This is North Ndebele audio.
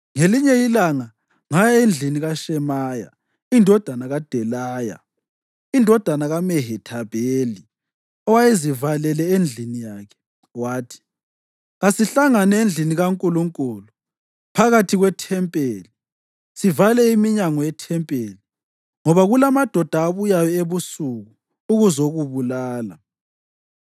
Ngelinye ilanga ngaya endlini kaShemaya indodana kaDelaya, indodana kaMehethabheli, owayezivalele endlini yakhe. Wathi, “Kasihlangane endlini kaNkulunkulu, phakathi kwethempeli, sivale iminyango yethempeli, ngoba kulamadoda abuyayo ebusuku ukuzokubulala.”